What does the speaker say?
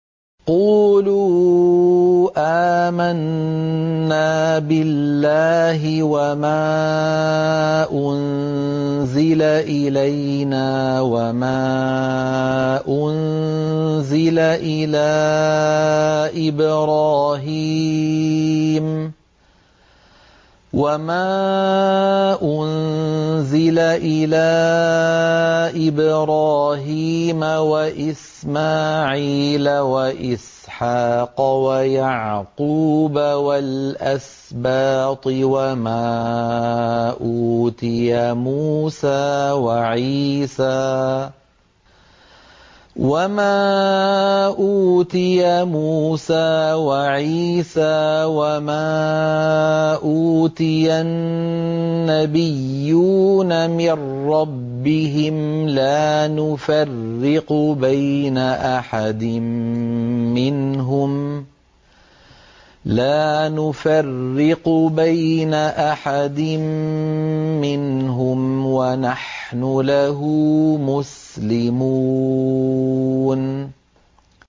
قُولُوا آمَنَّا بِاللَّهِ وَمَا أُنزِلَ إِلَيْنَا وَمَا أُنزِلَ إِلَىٰ إِبْرَاهِيمَ وَإِسْمَاعِيلَ وَإِسْحَاقَ وَيَعْقُوبَ وَالْأَسْبَاطِ وَمَا أُوتِيَ مُوسَىٰ وَعِيسَىٰ وَمَا أُوتِيَ النَّبِيُّونَ مِن رَّبِّهِمْ لَا نُفَرِّقُ بَيْنَ أَحَدٍ مِّنْهُمْ وَنَحْنُ لَهُ مُسْلِمُونَ